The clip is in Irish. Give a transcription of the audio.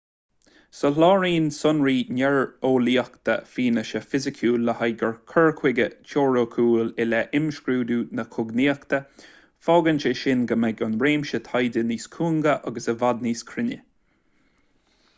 soláthraíonn sonraí néareolaíocha fianaise fhisiciúil le haghaidh cur chuige teoiriciúil i leith imscrúdú na cognaíochta fágann sé sin go mbeidh an réimse taighde níos cúinge agus i bhfad níos cruinne